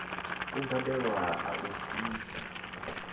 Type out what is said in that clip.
u badelwa a u bvisa